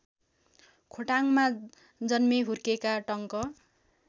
खोटाङमा जन्मेहुर्केका टंक